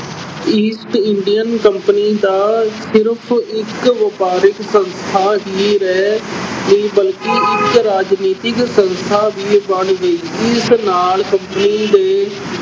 East Indian Company ਦਾ ਸਿਰਫ ਇੱਕ ਵਪਾਰਕ ਸੰਸਥਾ ਹੀ ਰਹਿ ਗਈ, ਬਲਕਿ ਇੱਕ ਰਾਜਨੀਤਿਕ ਸੰਸਥਾ ਵੀ ਬਣ ਗਈ। ਇਸ ਨਾਲ ਦੇ